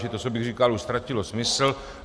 Čili to, co bych říkal, už ztratilo smysl.